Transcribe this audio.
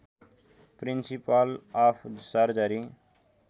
principal of surgery